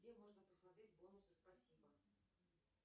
где можно посмотреть бонусы спасибо